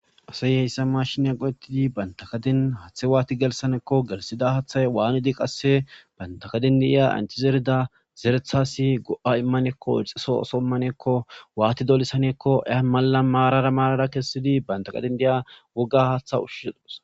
Asay heyssa mashinya qodettidi bantakadin hathe waati gelsaneekko gelsida haathay waanidi qasse bantakadindiya anchizerida zerethasi go7a immaneekko ixiso osomaneekko waati dolsanekko ea mala maarara maarara kessidi bantaqadin diya woga haatha ushisodos.